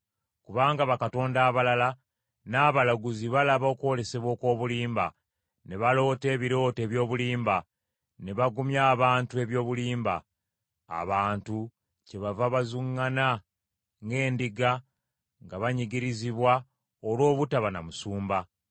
Kubanga bakatonda abalala n’abalaguzi balaba okwolesebwa okw’obulimba; ne baloota ebirooto eby’obulimba, ne bagumya abantu eby’obulimba. Abantu kyebava bazuŋŋana ng’endiga, nga banyigirizibwa olw’obutaba na musumba.